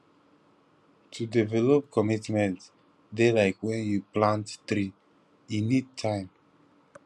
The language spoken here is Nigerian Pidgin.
to develop commitment dey like wen you plant tree e need time